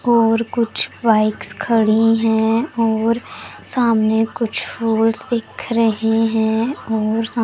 और कुछ बाइक्स खड़ी हैं और सामने कुछ फॉल्स दिख रहे है और साम--